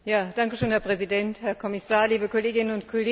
Herr Präsident, Herr Kommissar, liebe Kolleginnen und Kollegen!